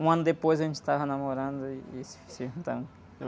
Um ano depois a gente estava namorando e se, se juntamos.